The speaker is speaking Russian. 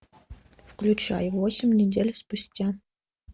включай восемь недель спустя